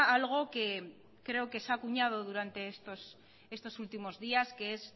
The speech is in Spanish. algo que se ha acuñado durante estos últimos días que es